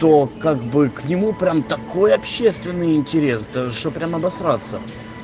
то как бы к нему прямо такое общественный интерес чтоб прям обосраться